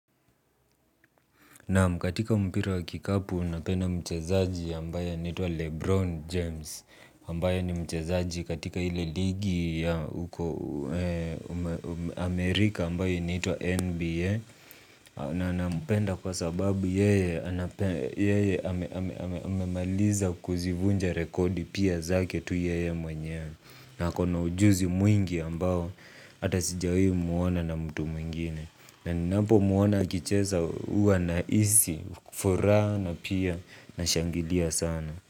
Naam katika mpira wa kikapu napenda mchezaji ambaye anaitwa Lebron James Ambaye ni mchezaji katika ile ligi ya Amerika ambayo inaitwa NBA. Na aninampenda kwa sababu yeye amemaliza kuzivunja rekodi pia zake tu yeye mwenyewe. Na akona ujuzi mwingi ambao hata sijawi muona na mtu mwingine. Na ninapo muona akicheza huwa nahisi, furaha na pia nashangilia sana.